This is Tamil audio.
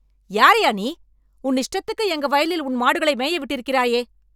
யாருய்யா நீ? உன் இஷ்டத்துக்கு எங்க வயலில் உன் மாடுகளை மேய விட்டிருக்கிறாயே!